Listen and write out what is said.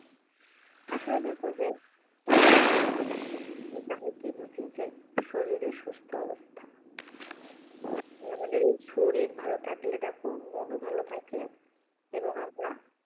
আসলে দেখো যে কি বুঝি যে শরীরে সুস্থ অবস্থা আমাদের এই শরীর ভালো থাকলে দেখো মনও ভাল থাকে এবং আমরা